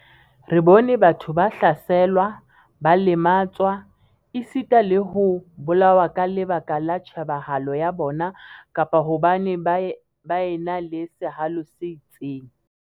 Re bone batho ba hlaselwa, ba lematswa, esita le ho bolawa ka lebaka la tjhebahalo ya bona kapa hobane ba ena le sehalo se itseng.